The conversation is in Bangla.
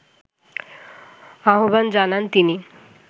আহ্বান জানান তিনি